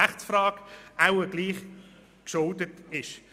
Und damit bin ich noch einmal bei einer Rechtsfrage.